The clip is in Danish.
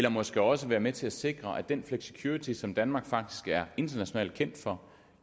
og måske også være med til at sikre den flexicurity som danmark faktisk er internationalt kendt for